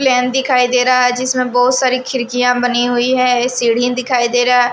plane दिखाई दे रहा है जिसमें बहुत सारी खिड़कियां बनी हुई है सीढ़ी दिखाई दे रहा --